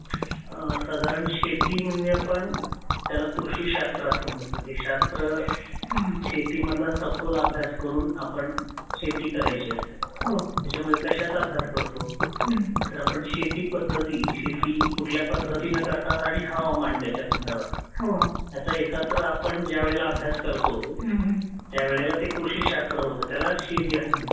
साधारण शेती म्हणजे आपण त्याला कृषीशाश्त्र असं म्हणतो हे शास्त्र शेती मधला सखोल अभ्यास करून आपण शेती करायची असते त्याच्यामध्ये कशाचा अभ्यास करतो तर आपण शेती पद्धती शेती कुठल्या पद्धतिने करतता आणि हवामान त्याच्या संदर्भात याचा एकत्र जेव्हा आपण अभ्यास करतो. त्यावेळेला कृषीशास्त्र असं होतं त्याला शेती असं म्हणतात.